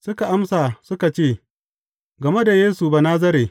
Suka amsa suka ce, Game da Yesu Banazare.